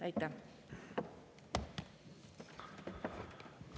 Aitäh!